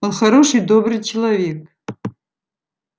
он хороший добрый человек